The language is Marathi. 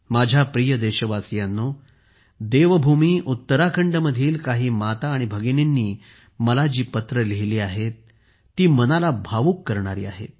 माझ्या प्रिय देशवासियांनो देवभूमी उत्तराखंडमधील काही माता आणि भगिनींनी मला जी पत्रे लिहिलीं आहेत ती मनाला भावूक करणारी आहेत